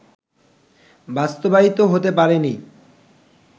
বাস্তবায়িত হতে পারে নি